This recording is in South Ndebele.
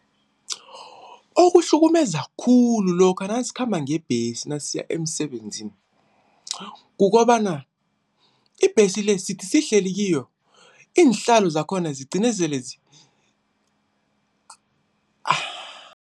Okuhlukumeza khulu lokha nasikhamba ngebhesi nasiya emsebenzini, kukobana ibhesi le sithi sihleli kiyo iinhlalo zakhona zigcine sele